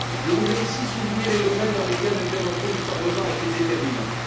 Je voudrais ici souligner les domaines dans lesquels l'intervention du Parlement a été déterminante.